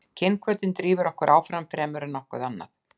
kynhvötin drífur okkur áfram fremur en nokkuð annað